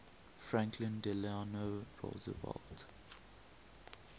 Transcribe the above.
franklin delano roosevelt